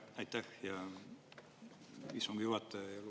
Aitäh, hea istungi juhataja!